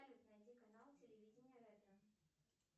найди канал телевидение ретро